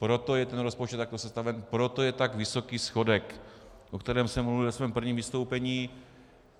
Proto je ten rozpočet takto sestaven, proto je tak vysoký schodek, o kterém jsem mluvil ve svém prvním vystoupení.